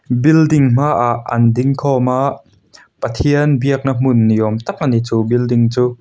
building hmaah an ding khawm a pathian biakna hmun ni awm tak ani chu building chu.